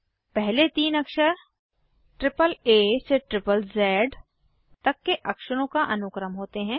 पहले तीन अक्षर एए से ज़ज़ तक के अक्षरों का अनुक्रम होते हैं